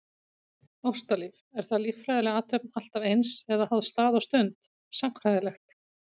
Ástalíf, er það líffræðileg athöfn alltaf eins, eða háð stað og stund, sagnfræðilegt?